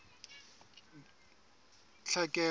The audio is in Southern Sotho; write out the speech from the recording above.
tlhekelo